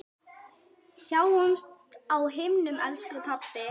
Sjáumst á himnum, elsku pabbi.